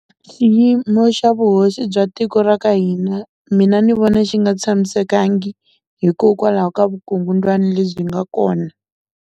Xiyimo xa vuhosi bya tiko ra ka hina mina ni vona xi nga tshamisekangi hikokwalaho ka vukungundzwani lebyi nga kona.